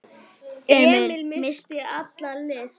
Emil missti alla lyst.